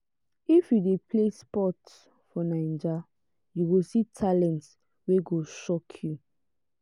if you dey play sports for naija you go see talent wey go shock you